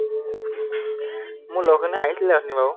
মোৰ লগৰখিনি আহিছিলে অথনি বাৰু